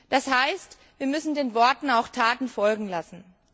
Das heißt, wir müssen den Worten auch Taten folgen lassen.